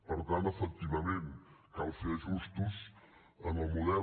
per tant efectivament cal fer ajustos en el model